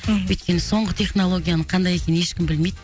мхм өйткен соңғы технологияның қандай екенін ешкім білмейді